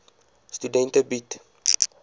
studente bied